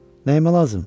Neymə lazım?